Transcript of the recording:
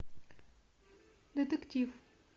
детектив